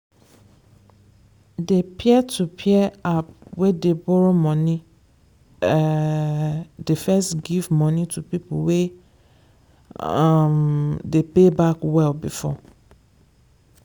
the peer-to-peer app wey dey borrow money um dey first give money to people wey um dey pay back well before.